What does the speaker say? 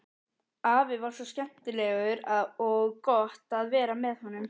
Afi var svo skemmtilegur og gott að vera með honum.